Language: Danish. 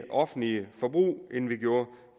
offentligt forbrug end vi gjorde